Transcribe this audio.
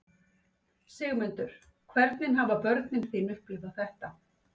Sigmundur: Hvernig hafa börnin þín upplifað þetta?